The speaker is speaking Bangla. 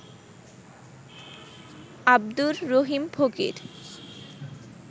আব্দুর রহিম ফকির